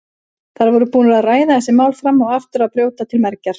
Þær voru búnar að ræða þessi mál fram og aftur og brjóta til mergjar.